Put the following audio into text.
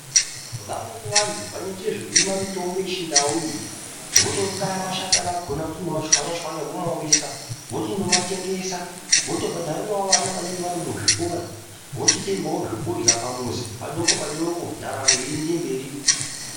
Vamweni vanthu vanoite zvekurima mitombo yechindau iyi votokaya mashakani akona kutondomatshwanya tshwanya vomaomesa vochindomatengesa votobhadharirawo vana vanenge vari muzvikora vochitengawo zvekurya pamuzi padoko padoko ndaramo yeienda mberi.